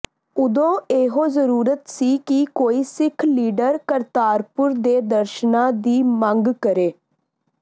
ਓਦੋਂ ਇਹੋ ਜਰੂਰਤ ਸੀ ਕਿ ਕੋਈ ਸਿੱਖ ਲੀਡਰ ਕਰਤਾਰਪੁਰ ਦੇ ਦਰਸ਼ਨਾਂ ਦੀ ਮੰਗ ਕਰੇ